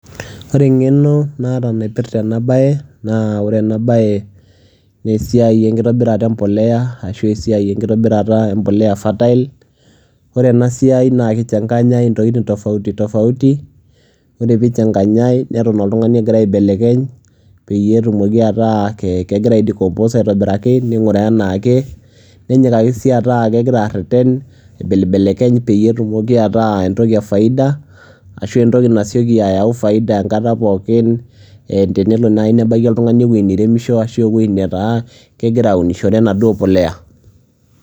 ore engeno naata naipirta ena bae, naa ore ena baae naa esiai enkitobirat empuliya, ashu esiai enkitobirata empulya fertile ore ena siai naa ki changanya intokitin tofauti tofauti ore pee eichanganyae, neton oltungani egira aibelibelekenye, peyie etumoki ataa kegira ai decompose aitobiraki, niguraa anaake, nenyikaki sii ataa kegira areten, aibelibelekeny peyie etumoki ataa entoki efaida, ashu entoki nasioki ayau faida enkata poookin, tenelo naaji nebaiki oltungani, ewuei neiremiso ashu ewuei netaa kegira aunishore enaduoo puliya.